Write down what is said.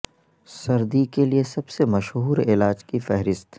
سردی کے لئے سب سے مشہور علاج کی فہرست